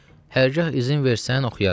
Hərgah izin versən, oxuyaram.